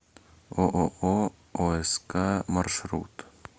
ооо оск маршрут